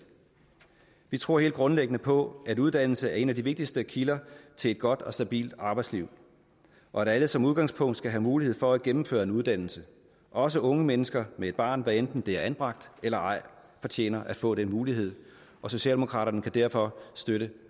vi tror helt grundlæggende på at uddannelse er en af de vigtigste kilder til et godt og stabilt arbejdsliv og at alle som udgangspunkt skal have mulighed for at gennemføre en uddannelse også unge mennesker med et barn hvad enten det er anbragt eller ej fortjener at få den mulighed socialdemokraterne kan derfor støtte